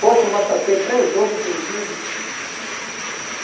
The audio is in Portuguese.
Poxa, mas só tem três ovos cozidos.